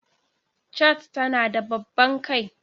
Chat tana da babban kai.